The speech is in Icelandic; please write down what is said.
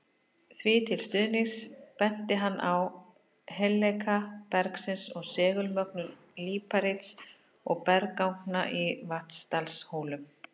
Því til stuðnings benti hann á heilleika bergsins og segulmögnun líparíts og bergganga í Vatnsdalshólum.